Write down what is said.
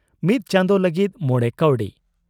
ᱢᱤᱛ ᱪᱟᱸᱫᱚ ᱞᱟᱹᱜᱤᱫ ᱢᱚᱲᱮ ᱠᱟᱣᱰᱤ